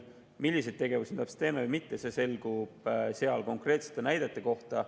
Milliseid tegevusi täpselt teeme või mitte, selgub selle käigus ka nende konkreetsete näidete kohta.